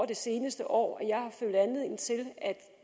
det seneste år at